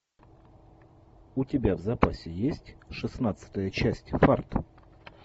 у тебя в запасе есть шестнадцатая часть фарт